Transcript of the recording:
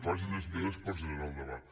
facin esmenes per generar el debat